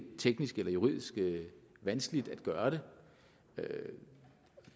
teknisk eller juridisk vanskeligt at gøre det